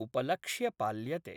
उपलक्ष्य पाल्यते।